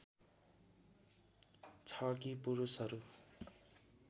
छ कि पुरुषहरू